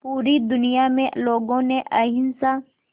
पूरी दुनिया में लोगों ने अहिंसा